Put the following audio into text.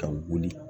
Ka wuli